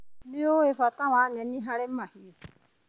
Nĩũĩ bata wa nyeki harĩ mahiũ.